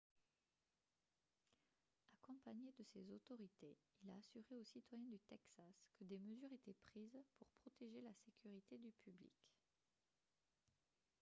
accompagné de ces autorités il a assuré aux citoyens du texas que des mesures étaient prises pour protéger la sécurité du public